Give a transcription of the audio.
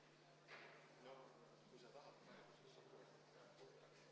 Valimiskomisjon ütleb, et plommid on kontrollitud.